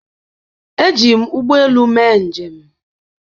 Eji m ụgbọ elu mee njem